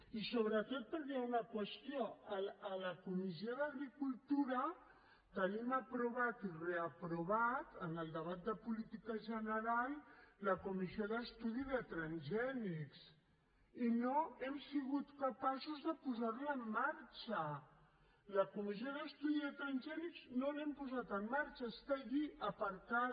i sobretot perquè hi ha una qüestió a la comissió d’agricultura tenim aprovada i reaprovada en el debat de política general la comissió d’estudi de transgènics i no hem sigut capaços de posar la en marxa la comissió d’estudi de transgènics no l’hem posada en marxa està allí aparcada